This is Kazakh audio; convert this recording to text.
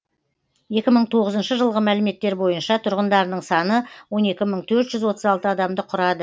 екі мың тоғызыншы жылғы мәліметтер бойынша тұрғындарының саны он екі мың төрт жүз отыз алты адамды құрады